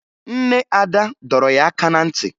Nne Ada dọrọ ya aka na ntị